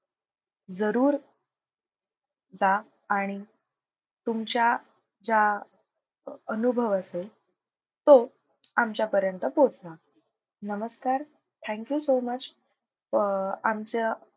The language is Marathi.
जरूर जा आणि तुमच्या ज्या अनुभव असेल तो आमच्यापर्यंत पोहोचवा. नमस्कार thank you so much. Uh आमच्या,